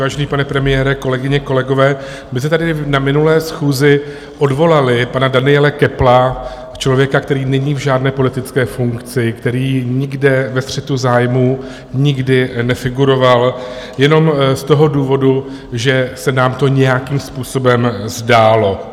Vážený pane premiére, kolegyně, kolegové, my jsme tady na minulé schůzi odvolali pana Daniela Köppla, člověka, který není v žádné politické funkci, který nikde ve střetu zájmů nikdy nefiguroval, jenom z toho důvodu, že se nám to nějakým způsobem zdálo.